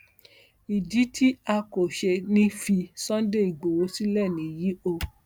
ìdí tí a kò ṣe ní í fi sunday igbowó sílẹ nìyí o